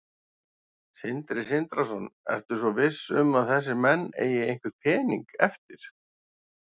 Sindri Sindrason: Ertu svo viss um að þessir menn eigi einhvern pening eftir?